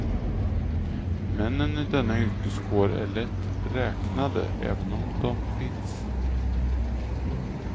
Männen i denna yrkeskår är lätt räknade, även om de finns.